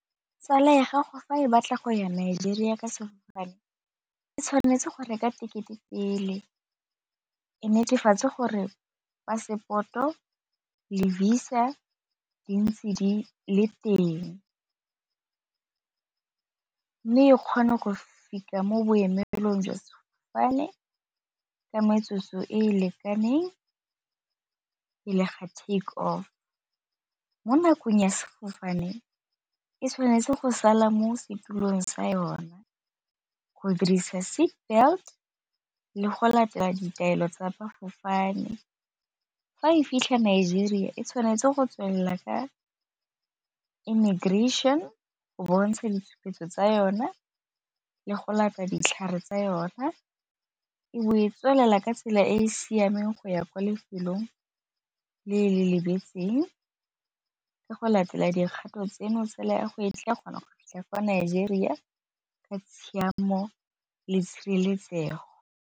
Tsala ya gago fa e batla go ya Nigeria ka sefofane e tshwanetse go reka tekete pele e netefatse gore passport-o le Visa di ntse di le teng, mme e kgone go fitlha mo boemelong jwa sefofane ka metsotso e e lekaneng ka le ga takeoff, mo nakong ya sefofane e tshwanetse go sala mo setulong sa yona go dirisa seat belt le go latela ditaelo tsa , fa e fitlha ko Nigeria e tshwanetse go tswelela ka immigration go bontsha ditshupetso tsa yona le go lata ditlhare tsa yona, e bo e tswelela ka tsela e e siameng go ya kwa lefelong le le lebetseng ka go latela dikgato tseno tsala ya go e tla kgonang go fitlha ko Nigeria ka tshiamo le tshireletsego.